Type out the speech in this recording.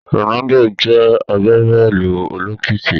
Ronaldo jé agbabóòlù olókìkí